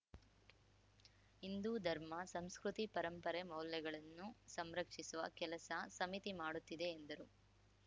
ಹಿಂದೂ ಧರ್ಮ ಸಂಸ್ಕೃತಿ ಪರಂಪರೆ ಮೌಲ್ಯಗಳನ್ನು ಸಂರಕ್ಷಿಸುವ ಕೆಲಸ ಸಮಿತಿ ಮಾಡುತ್ತಿದೆ ಎಂದರು